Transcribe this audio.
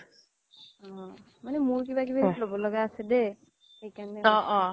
মানে মোৰ কিবা কিবি ল'ব লগা আছে দেই